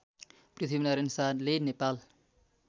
पृथ्वीनारायण शाहले नेपाल